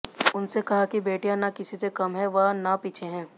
उसने कहा कि बेटियां न किसी से कम हैं व न पीछे हैं